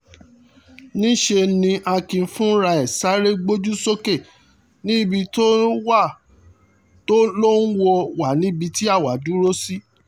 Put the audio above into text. níṣẹ́ ni akin fúnra ẹ̀ sáré gbójú sókè níbi tó wà lọ ń wò wá níbi tí àwa dúró sí